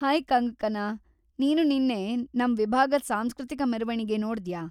Hi Kangkana! ನೀನು ನಿನ್ನೆ ನಮ್ ವಿಭಾಗದ್‌ ಸಾಂಸ್ಕೃತಿಕ ಮೆರವಣಿಗೆ ನೋಡ್ದ್ಯಾ?